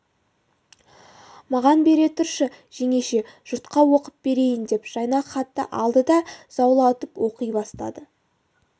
маған бере тұршы жеңеше жұртқа оқып берейін деп жайнақ хатты алды да заулатып оқи бастады